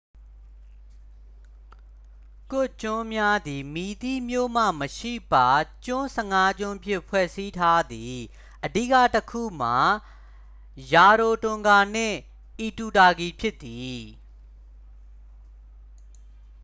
ကွတ်ကျွန်းများသည် မည်သည့်မြို့မှမရှိပ ကျွန်း 15ကျွန်းဖြင့် ဖွဲ့စည်းထားသည် အဓိကတစ်ခုမှာ ရာရိုတွန်ဂါနှင့် အီတူတာကီဖြစ်သည်